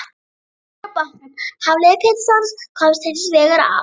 Fimmti maður á bátnum, Hafliði Pétursson, komst hins vegar af.